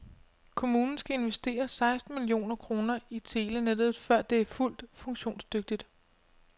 Kommunen skal investere seksten millioner kroner i telenettet, før det er fuldt funktionsdygtigt.